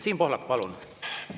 Siim Pohlak, palun!